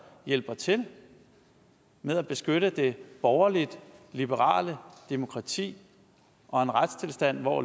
hjælper til med at beskytte det borgerlige liberale demokrati og en retstilstand hvor